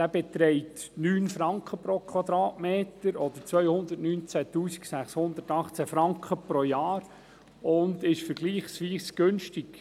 Dieser beträgt 9 Franken pro Quadratmeter oder 219 618 Franken pro Jahr und ist vergleichsweise günstig.